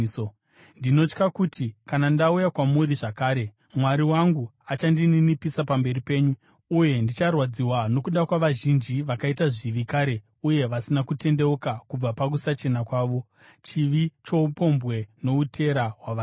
Ndinotya kuti kana ndauya kwamuri zvakare, Mwari wangu achandininipisa pamberi penyu, uye ndicharwadziwa nokuda kwavazhinji vakaita zvivi kare uye vasina kutendeuka kubva pakusachena kwavo, chivi choupombwe noutera hwavakaita.